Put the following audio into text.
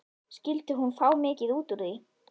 Skyldi hún fá mikið út úr því?